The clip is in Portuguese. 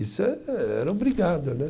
Isso é, era obrigado, né?